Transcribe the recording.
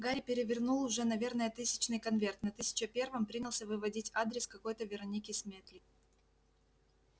гарри перевернул уже наверное тысячный конверт на тысяча первом принялся выводить адрес какой-то вероники сметли